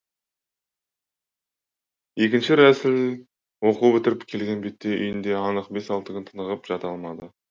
іі рәсіл оқу бітіріп келген бетте үйінде анық бес алты күн тынығып жата алмады